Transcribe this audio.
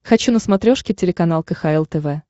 хочу на смотрешке телеканал кхл тв